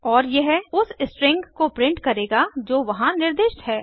और यह उस स्ट्रिंग को प्रिंट करेगा जो वहां निर्दिष्ट है